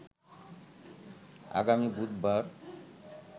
আগামী বুধবার